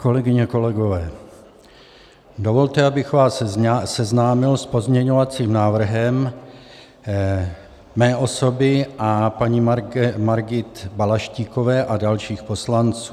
Kolegyně, kolegové, dovolte, abych vás seznámil s pozměňovacím návrhem mé osoby a paní Margity Balaštíkové a dalších poslanců.